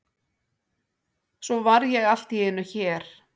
Svo var ég allt í einu hér.